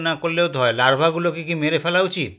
না করলেও তো হয় larva -গুলোকে কি মেরে ফেলা উচিত